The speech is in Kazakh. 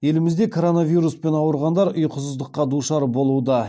елімізде коронавируспен ауырғандар ұйқысыздыққа душар болуда